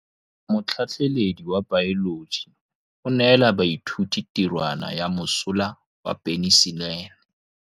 Motlhatlhaledi wa baeloji o neela baithuti tirwana ya mosola wa peniselene.